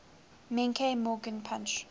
menke morgan punch